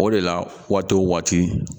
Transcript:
O de la waati wo waati